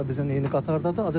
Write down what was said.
O da bizlə eyni qatardadır.